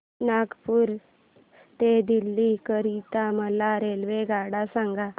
नागपुर ते दिल्ली करीता मला रेल्वेगाड्या सांगा